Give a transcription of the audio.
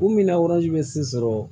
U minɛ bɛ se sɔrɔ